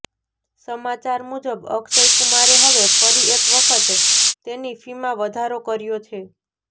સમાચાર મુજબ અક્ષય કુમારે હવે ફરી એક વખત તેની ફીમાં વધારો કર્યો છે